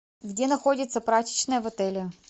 где находится прачечная в отеле